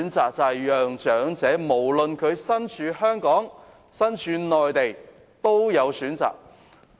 那就是讓長者無論身處香港或內地，均能有所選擇。